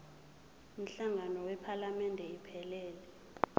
umhlangano wephalamende iphelele